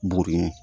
Buru ye